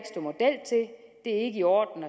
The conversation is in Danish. ikke i orden